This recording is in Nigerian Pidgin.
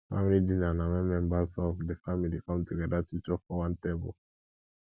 family dinner na when members of di family come together to chop for one table